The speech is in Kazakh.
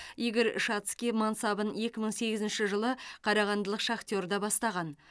игорь шацкий мансабын екі мың сегізінші жылы қарағандылық шахтерде бастаған